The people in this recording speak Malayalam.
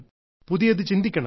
പുതിയത് ചിന്തിക്കണം